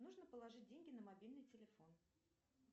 нужно положить деньги на мобильный телефон